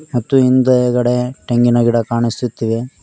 ಮತ್ತು ಹಿಂದುಗಡೆ ತೆಂಗಿನ ಗಿಡಗಳು ಕಾಣಿಸುತ್ತಿವೆ.